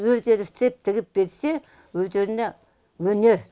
өздері істеп тігіп берсе өздеріне өнер